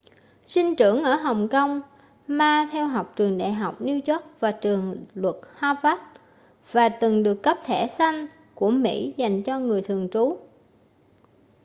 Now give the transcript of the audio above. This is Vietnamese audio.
sinh trưởng ở hồng kông ma theo học trường đại học new york và trường luật harvard và từng được cấp thẻ xanh của mỹ dành cho người thường trú